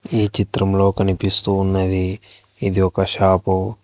ఈ చిత్రంలో కనిపిస్తూ ఉన్నది ఇది ఒక షాపు .